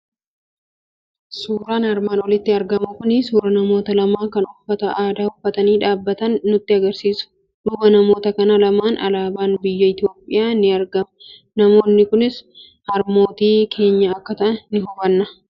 Suuraan armaan olitti argamu kuni suuraa namoota lamaa kan uffata aadaa uffatanii dhaabbatan nutti argisiisa. Duuba namoota kana lamaan alaabaan biyya Itoophiyaa ni argama. Namoonni kunis harmootii keenya akka ta'an ni hubanna.